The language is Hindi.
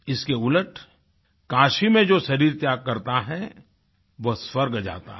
इसके उलट काशी में जो शरीर त्याग करता है वो स्वर्ग जाता है